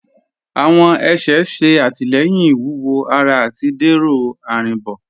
Awọn ẹ̀ṣẹ̀ ṣẹ̀ àtilẹ̀yìn iwúwọ̀ ará àti dẹrọ arínbo.